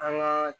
An ka